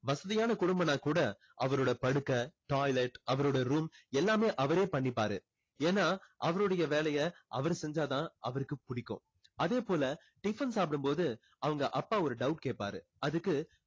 வசதியான குடும்பம்னா கூட அவருடைய படுக்க toilet அவருடைய room எல்லாமே அவரே பண்ணிப்பாரு. ஏன்னா அவருடைய வேலையை அவர் செஞ்சா தான் அவருக்கு புடிக்கும் அதே போல tiffin சாப்பிடும் போது அவங்க அப்பா ஒரு doubt கேப்பாரு. அதுக்கு